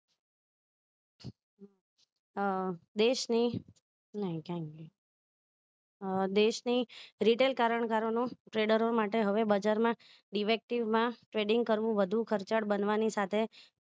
અહહ દેશ ની નહિ દેશ ની રીઢેણ કારણ ગારો નું trader ઓ માટે હવે બજાર માં defective માં trading કરવું વધુ ખર્ચાળ બનવાની સાથે